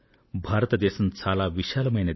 భారతదేశం చాలా విశాలమైంది